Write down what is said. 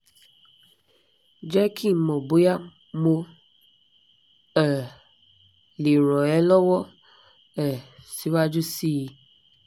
jẹ́ kí n mọ̀ bóyá mo um lè ràn ẹ́ lọ́wọ́ um síwájú sí i